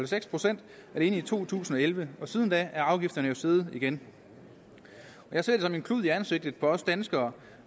seks procent alene i to tusind og elleve og siden da er afgifterne jo steget igen jeg ser det som en klud i ansigtet på os danskere